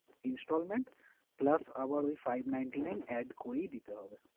Installment plus আবার ওই five ninety nine add করেই দিতে হবে।